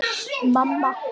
Þín Rós.